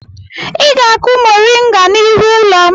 Ị ga-akụ mọrịnga n'ihu ụlọ m!